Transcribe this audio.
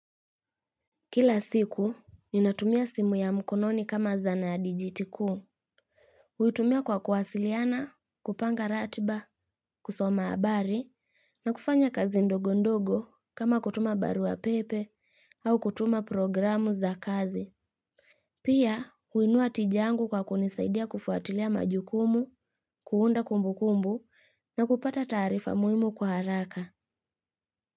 Kila siku, ninatumia simu ya mkononi kama zana ya dijiti kuu. Huitumia kwa kuwasiliana, kupanga ratiba, kusoma habari, na kufanya kazi ndogo ndogo kama kutuma barua pepe au kutuma programu za kazi. Pia, huinua tija yangu kwa kunisaidia kufuatilia majukumu, kuunda kumbukumbu na kupata taarifa muhimu kwa haraka.